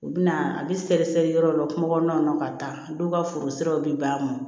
U bɛ na a bɛ sɛgɛsɛgɛ yɔrɔ dɔ la kungo kɔnɔna na ka taa dɔw ka foro siraw bi ban